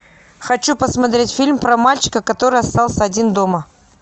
хочу посмотреть фильм про мальчика который остался один дома